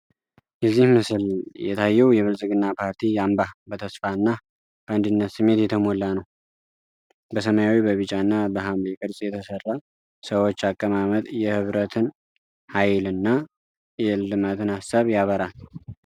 በዚህ ምስል የታየው የብልፅግና ፓርቲ አምባ በተስፋ እና በአንድነት ስሜት የተሞላ ነው። በሰማያዊ፣ በቢጫ እና በሐምሌ ቅርጽ የተሰሩ ሰዎች አቀማመጥ የህብረትን ኃይል እና የእልማትን አሳብ ያበራል።